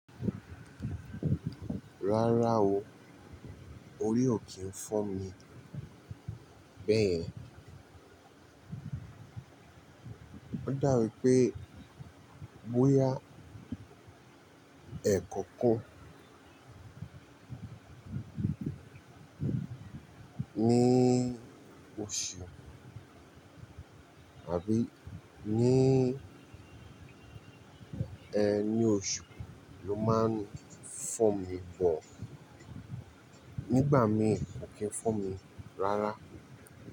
Rárá o, orí ò kí ń fọ́ mi bẹ́ẹ̀. Ó dá wi pé bóyá ẹ̀kọ̀kan ní òṣù àbí ní ẹni òṣù ló máa ń fọ́ mi bọ̀. Nígbà mi ò kí ń fọ́ mi rárá.